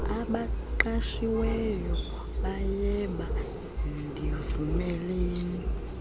abaqashiweyo bayeba ndivumeleni